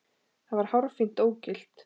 Það var hárfínt ógilt.